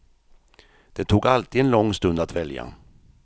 Det tog alltid en lång stund att välja.